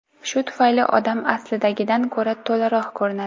Shu tufayli odam aslidagidan ko‘ra to‘laroq ko‘rinadi.